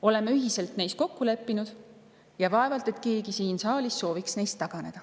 Oleme ühiselt neis kokku leppinud ja vaevalt et keegi siin saalis sooviks neist taganeda.